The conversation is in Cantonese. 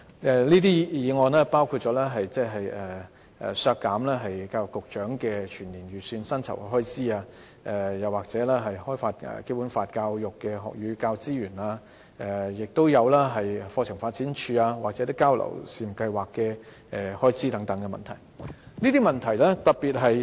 這些修正案包括削減教育局局長的全年預算薪酬開支、開發《基本法》教育的學與教資源方面的全年預算開支，亦有"課程發展處"和"促進香港與內地姊妹學校交流試辦計劃"的預算開支。